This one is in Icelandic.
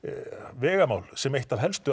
vegamál sem eitt af helstu